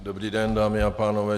Dobrý den, dámy a pánové.